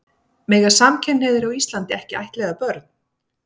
Mega samkynhneigðir á Íslandi ekki ættleiða börn?